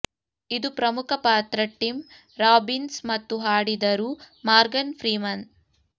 ಇದು ಪ್ರಮುಖ ಪಾತ್ರ ಟಿಮ್ ರಾಬಿನ್ಸ್ ಮತ್ತು ಹಾಡಿದರು ಮಾರ್ಗನ್ ಫ್ರೀಮನ್